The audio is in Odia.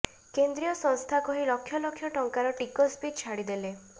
କେନ୍ଦ୍ରୀୟ ସଂସ୍ଥା କହି ଲକ୍ଷ ଲକ୍ଷ ଟଙ୍କାର ଟିକସ ବି ଛାଡ଼ିଦେଲେ